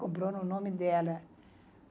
Comprou no nome dela.